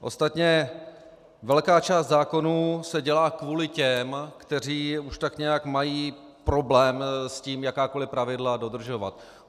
Ostatně velká část zákonů se dělá kvůli těm, kteří už tak nějak mají problém s tím jakákoliv pravidla dodržovat.